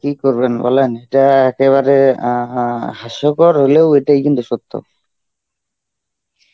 কী করবেন বলেন? এটা একেবারে অ্যাঁ অ্যাঁ হাস্যকর হলেও এটাই কিন্তু সত্য.